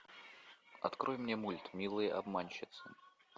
открой мне мульт милые обманщицы